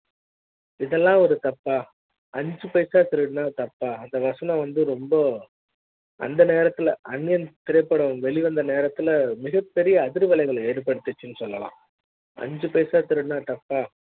இதெல்லா ம் ஒரு தப்பா அஞ்சு பைசா திருடி னா தப்பா அந்த வாசன வந்து ரொம்பஅந்த நேரத்துல அந்நியன் திரைப்பட ம் வெளிவந்த நேரத்துல மிகப்பெரிய அதிர்வலைகளை ஏற்படுத்துச்சு னு சொல்லலாம் அஞ்சு பைசா திருடினா தப்பா